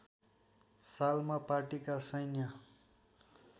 सालमा पार्टीका सैन्य